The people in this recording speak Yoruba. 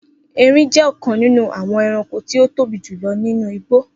Erin jẹ́ ọ̀kan nínú àwọn ẹranko tí ó tóbi jù lọ nínú igbó